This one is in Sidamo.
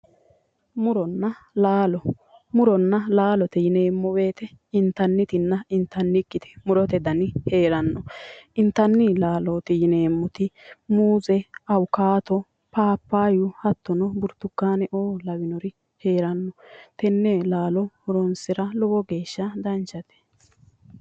Muronna laalo muronna laalote yineemmo woyiite intannitinna intannikkiti murote dani heeranno intanni laalooti yineemmoti muuze awukaato paappaayyu hattono burtukaane"o lawinori heeranno tenne laalo horonsira lowo geeshsha danchate